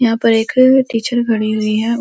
यहाँ पर एक टीचर खडी हुई है।